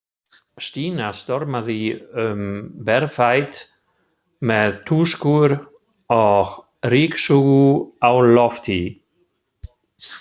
Stína stormaði um berfætt með tuskur og ryksugu á lofti.